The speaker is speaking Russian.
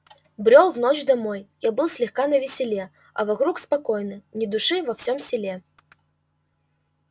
брёл в ночь домой я был слегка навеселе а вокруг спокойно ни души во всём селе